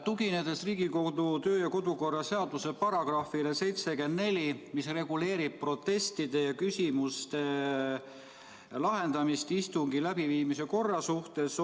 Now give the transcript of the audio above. Tuginen Riigikogu kodu- ja töökorra seaduse §-le 74, mis reguleerib protestide ja küsimuste lahendamist istungi läbiviimise korra suhtes.